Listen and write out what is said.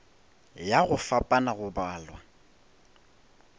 ya go fapana go balwa